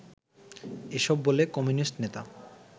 এসব বলে কমিউনিস্ট নেতা